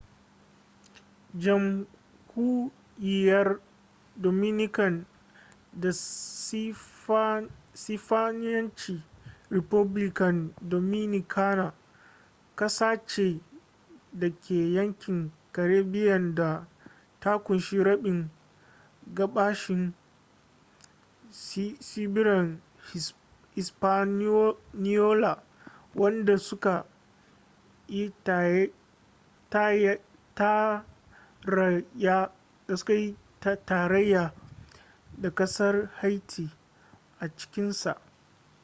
jamhuriyar dominican da sifaniyanci: república dominicana ƙasa ce da ke yankin caribbean da ta kunshi rabin gabashin tsibirin hispaniola wanda su ka yi tarayya da kasar haiti a cikinsaa